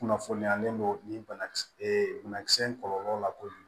Kunnafoniyalen don nin banakisɛ ee banakisɛ kɔlɔlɔ la kojugu